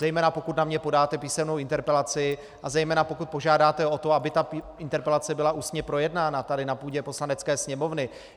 Zejména pokud na mě podáte písemnou interpelaci a zejména pokud požádáte o to, aby ta interpelace byla ústně projednána tady na půdě Poslanecké sněmovny.